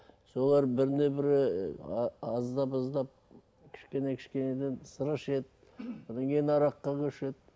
солар біріне бірі ы аздап аздап кішкене кішкенеден сыра ішеді содан кейін араққа көшеді